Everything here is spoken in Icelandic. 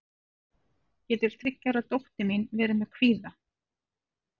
getur þriggja ára dóttir mín verið með kvíða